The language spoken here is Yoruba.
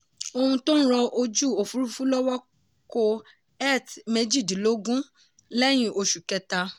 ohun tó ń ran ojú òfurufú lọ́wọ́ kó eth méjìdínlógún lẹ́yìn oṣù kẹta.